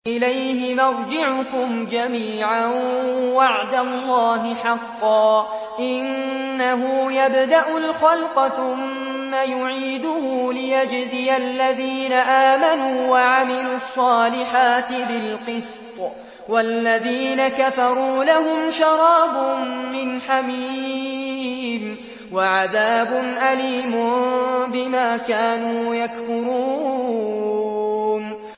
إِلَيْهِ مَرْجِعُكُمْ جَمِيعًا ۖ وَعْدَ اللَّهِ حَقًّا ۚ إِنَّهُ يَبْدَأُ الْخَلْقَ ثُمَّ يُعِيدُهُ لِيَجْزِيَ الَّذِينَ آمَنُوا وَعَمِلُوا الصَّالِحَاتِ بِالْقِسْطِ ۚ وَالَّذِينَ كَفَرُوا لَهُمْ شَرَابٌ مِّنْ حَمِيمٍ وَعَذَابٌ أَلِيمٌ بِمَا كَانُوا يَكْفُرُونَ